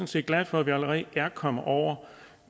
set glad for at vi allerede er kommet over